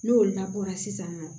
N'o labɔra sisan